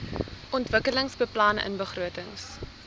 ontwikkelingsbeplanningbegrotings